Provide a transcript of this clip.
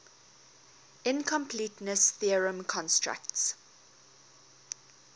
incompleteness theorem constructs